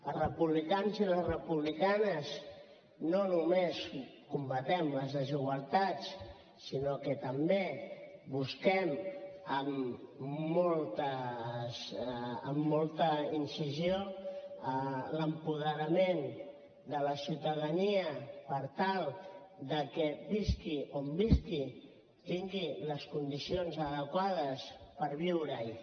els republicans i les republicanes no només combatem les desigualtats sinó que també busquem amb molta incisió l’apoderament de la ciutadania per tal que visqui on visqui tingui les condicions adequades per viure hi